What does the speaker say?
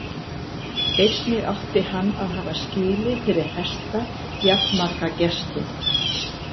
Einnig átti hann að hafa skýli fyrir hesta jafnmarga gestum.